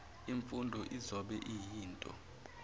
imfundo izobe iyinto